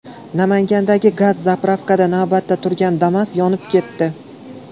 Namangandagi gaz-zapravkada navbatda turgan Damas yonib ketdi.